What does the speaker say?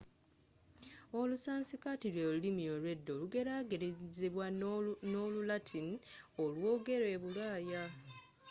olusansikaati lwelulimi olwedda olugerageranyizibwa no'lu latini olwogerwa ebulaaya